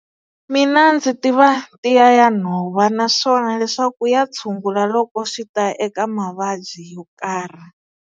Mina ndzi tiva tiya ya nhova naswona leswaku ya tshungula loko swi ta eka mavabyi yo karhi.